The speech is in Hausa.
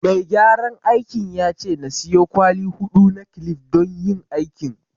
Mai gyaran aikin ya ce na siyo kwali huɗu na kilif don yin aikin